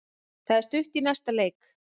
Það er stutt í næsta leik.